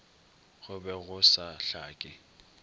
go be go sa hlake